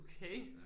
Okay